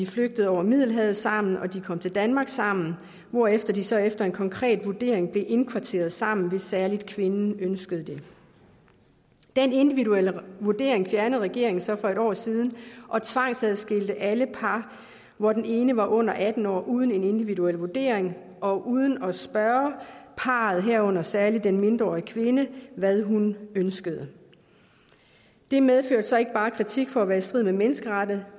flygtet over middelhavet sammen og de kom til danmark sammen hvorefter de så efter en konkret vurdering blev indkvarteret sammen hvis særligt kvinden ønskede det den individuelle vurdering fjernede regeringen så for et år siden og tvangsadskilte alle par hvor den ene var under atten år uden en individuel vurdering og uden at spørge parret herunder særligt den mindreårige kvinde hvad hun ønskede det medførte så ikke bare kritik for at være i strid med menneskeretten